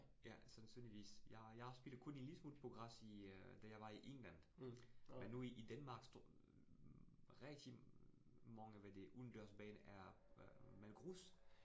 Ja, sandsynligvis. Jeg jeg har spillet kun en lille smule på græs i øh, da jeg var i England, men nu i i Danmark rigtig mange hvad det udendørs baner er er grus